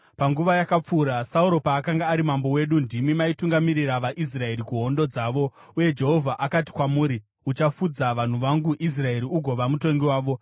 Panguva yakapfuura, Sauro paakanga ari mambo wedu, ndimi maitungamirira vaIsraeri kuhondo dzavo. Uye Jehovha akati kwamuri, ‘Uchafudza vanhu vangu Israeri, ugova mutongi wavo.’ ”